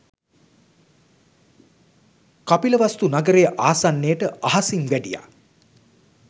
කපිලවස්තු නගරය ආසන්නයට අහසින් වැඩියා